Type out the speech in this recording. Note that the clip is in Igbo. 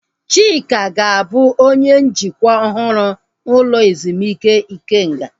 Chika ga-abụ onye njikwa ọhụrụ ụlọ ezumike Ikenga